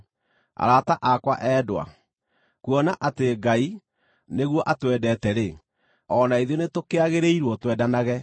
Arata akwa endwa, kuona atĩ Ngai nĩguo atwendete-rĩ, o na ithuĩ nĩtũkĩagĩrĩirwo twendanage.